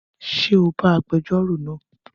Ṣé o bá agbẹjórò náà?